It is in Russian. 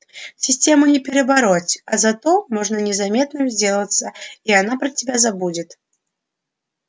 систему не перебороть а зато можно незаметным сделаться и она про тебя забудет